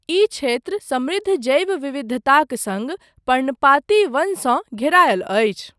ई क्षेत्र समृद्ध जैव विविधताक सङ्ग पर्णपाती वनसँ घेरायल अछि।